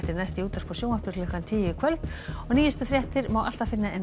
næst í útvarpi og sjónvarpi klukkan tíu í kvöld og nýjustu fréttir má alltaf finna á